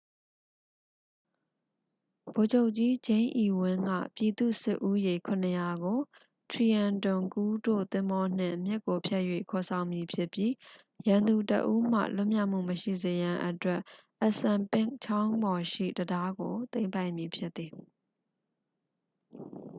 ဗိုလ်ချုပ်ကြီး ဂျိမ်းအီဝင်း က ပြည်သူ့စစ်ဦးရေ 700 ကို trenton ကူးတို့သင်္ဘောနှင့် မြစ်ကိုဖြတ်၍ ခေါ်ဆောင်မည်ဖြစ်ပြီး ရန်သူတစ်ဦးမှ လွန်မြောက်မှုမရှိစေရန်အတွက် assunpink ချောင်းပေါ်ရှိ တံတားကို သိမ်းပိုက်မည်ဖြစ်သည်